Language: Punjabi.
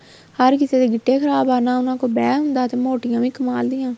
ਹਰ ਕਿਸੇ ਗਿੱਟੇ ਖ਼ਰਾਬ ਆ ਨਾ ਉਹਨਾ ਕੋਲ ਬੈਹ ਹੁੰਦਾ ਤੇ ਮੋਟੀਆਂ ਵੀ ਕਮਾਲ ਦੀਆ